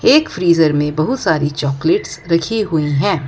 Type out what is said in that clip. एक फ्रीजर में बहुत सारी चॉकलेट्स रखी हुई है।